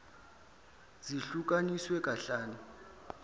zihlu kaniswe kahlanu